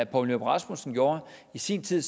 poul nyrup rasmussen gjorde i sin tid